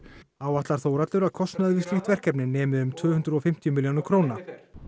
áætlar Þórhallur að kostnaður við slíkt verkefni nemi um tvö hundruð og fimmtíu milljónum króna